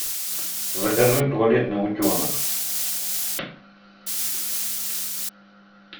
закажи туалетный утенок